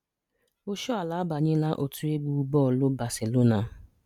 Oshoala abanyela otu egwu bọọlụ Barcelona.